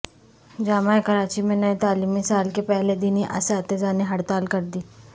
جامعہ کراچی میں نئے تعلیمی سال کے پہلے دن ہی اساتذہ نے ہڑتال کردی